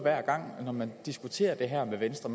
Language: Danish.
når man diskuterer det her med venstre